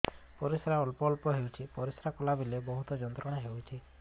ପରିଶ୍ରା ଅଳ୍ପ ଅଳ୍ପ ହେଉଛି ପରିଶ୍ରା କଲା ବେଳେ ବହୁତ ଯନ୍ତ୍ରଣା ହେଉଛି